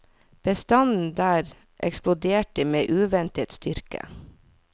Bestanden der eksploderte med uventet styrke.